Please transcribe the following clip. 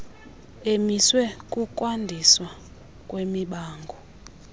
emiswe kukwandiswa kwemibango